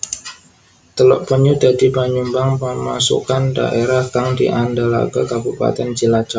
Teluk Penyu dadi panyumbang pemasukan dhaérah kang diandelaké Kabupatèn Cilacap